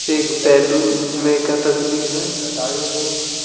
एक सैलून में का तस्वीर है।